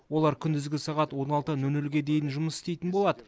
олар күндізгі сағат он алты нөл нөлге дейін жұмыс істейтін болады